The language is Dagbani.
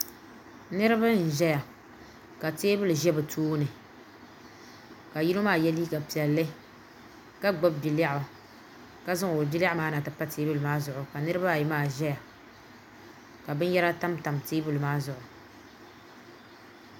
niriba n ʒɛya. ka tɛbuli ʒɛ be tuuni ka yino maa yɛ liga piɛli ka gbani bia lɛɣigu ka zaŋ ŋɔ o bia lɛɣigu maa na yɛ pa tɛbuli maa zuɣ ka niribaayi maa ʒɛya ka bɛniyɛra tamtam tɛbuli maa zuɣ